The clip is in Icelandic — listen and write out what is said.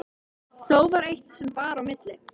Þó var eitt sem bar á milli.